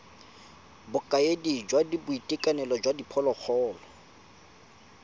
bokaedi jwa boitekanelo jwa diphologolo